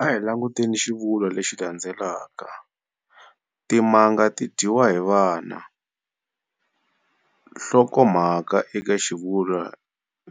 A hi languteni xivulwa lexi landzelaka-Timanga ti dyiwile hi vana. Nhlokomhaka eka xivulwa